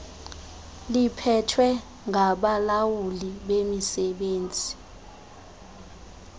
liphethwe ngabalawuli bemisebenzi